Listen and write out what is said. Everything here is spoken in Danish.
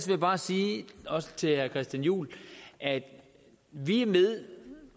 jeg bare sige også til herre christian juhl at vi